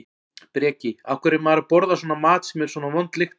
Breki: Af hverju er maður að borða svona mat sem er svona vond lykt af?